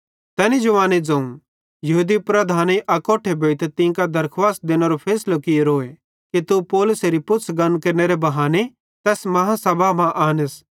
तैनी जवाने ज़ोवं यहूदी लीडरेईं अकोट्ठे भोइतां तीं कां दरखुवास देनेरो फैसलो कियोरोए कि तू पौलुसेरी पुछ़ गन केरनेरे बहाने तैस बेड्डी आदालती मां आनस